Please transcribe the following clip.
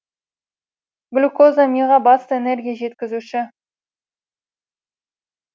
глюкоза миға басты энергия жеткізуші